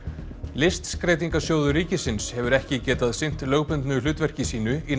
listskreytingasjóður ríkisins hefur ekki getað sinnt lögbundnu hlutverki sínu í